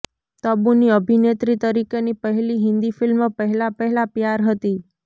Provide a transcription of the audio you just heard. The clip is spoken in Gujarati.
તબુની અભિનેત્રી તરીકેની પહેલી હિન્દી ફિલ્મ પહેલા પહેલા પ્યાર હતી